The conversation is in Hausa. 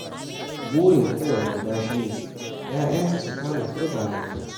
Burin kowane uba shi ne 'ya'yansa su kama turba mai kyau.